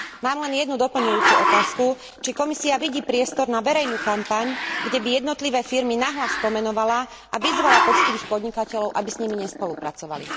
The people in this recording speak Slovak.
Mám len jednu doplňujúcu otázku, či Komisia vidí priestor na verejnú kampaň, kde by jednotlivé firmy nahlas pomenovala a vyzvala poctivých podnikateľov, aby s nimi nespolupracovali.